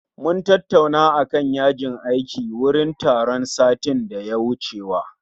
Mun tattauna akan yajin aiki wurin taron satin da ya wucewa